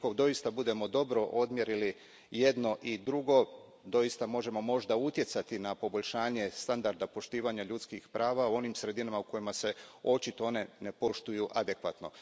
Ako doista budemo dobro odmjerili jedno i drugo, doista možemo možda utjecati na poboljšanje standarda poštivanja ljudskih prava u onim sredinama u kojima se ona očito ne poštuju adekvatno.